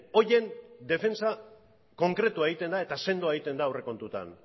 horien defentsa konkretua egiten da eta sendoa egiten da aurrekontuetan